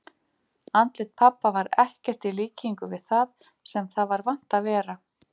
Andlit pabba var ekkert í líkingu við það sem það var vant að vera.